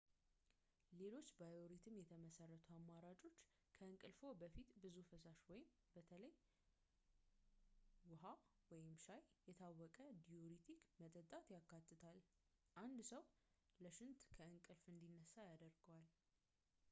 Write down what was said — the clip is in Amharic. ሌሎች ባዮሪትም የተመሰረቱ አማራጮች ከእንቅልፍዎ በፊት ብዙ ፈሳሽ በተለይም ውሃ ወይም ሻይ፣ የታወቀ ዲዩሪቲክ መጠጣት ያካትታል፣ አንድ ሰው ለሽንት ከእንቅልፍ እንዲነሳ ያስገድደዋል